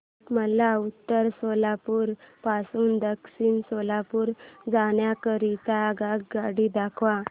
मला उत्तर सोलापूर पासून दक्षिण सोलापूर जाण्या करीता आगगाड्या दाखवा